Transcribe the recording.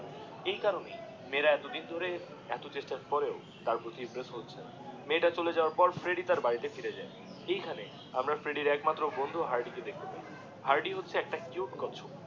এই কারণেই মেয়েরা এতদিন ধরে এত চেষ্টার পরেও তার প্রতি ইমপ্রেস হচ্ছেন মেয়েটা চলে যাওয়ার পর ফ্রেড্ডি তার বাড়িতে ফিরে যায়, এই খানে আমরা ফ্রেডির একমাত্র বন্ধু হার্ডি কে দেখতে পাই, হার্ডি হচ্ছে একটা কিউট কচ্ছপ